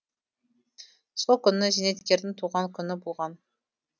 сол күні зейнеткердің туған күні болған